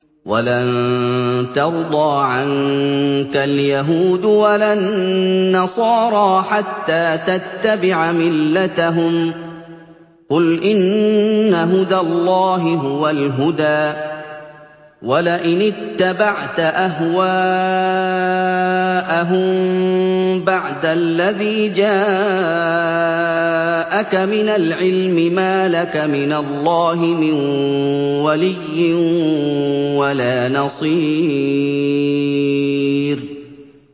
وَلَن تَرْضَىٰ عَنكَ الْيَهُودُ وَلَا النَّصَارَىٰ حَتَّىٰ تَتَّبِعَ مِلَّتَهُمْ ۗ قُلْ إِنَّ هُدَى اللَّهِ هُوَ الْهُدَىٰ ۗ وَلَئِنِ اتَّبَعْتَ أَهْوَاءَهُم بَعْدَ الَّذِي جَاءَكَ مِنَ الْعِلْمِ ۙ مَا لَكَ مِنَ اللَّهِ مِن وَلِيٍّ وَلَا نَصِيرٍ